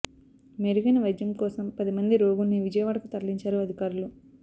మెరుగైన వైద్యం కోసం పది మంది రోగుల్ని విజయవాడకు తరలించారు అధికారులు